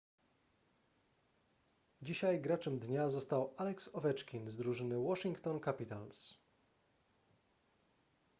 dzisiaj graczem dnia został alex ovechkin z drużyny washington capitals